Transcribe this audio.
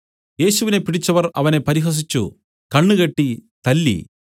യേശുവിനെ പിടിച്ചവർ അവനെ പരിഹസിച്ചു കണ്ണുകെട്ടി തല്ലി